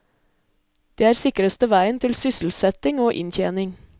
Det er sikreste veien til sysselsetting og inntjening.